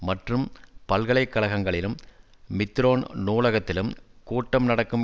மற்றும் பல்கலை கழகங்களிலும் மித்திரோன் நூலகத்திலும் கூட்டம் நடக்கும்